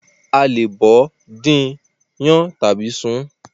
A lè bọ̀ọ́, dín in, Yan tàbí sun ún.